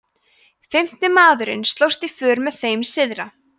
fimmti maðurinn slóst í för með þeim syðra